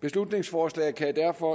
beslutningsforslaget kan derfor